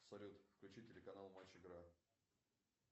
салют включи телеканал матч игра